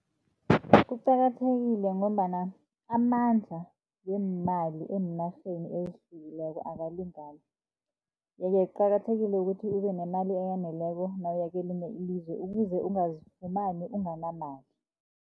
Kuqakathekile ngombana amandla weemali eenarheni ezihlukileko akalingani. Ye-ke kuqakathekile ukuthi ube nemali eyaneleko, nawuya kelinye ilizwe ukuze ungazifumani unganamali.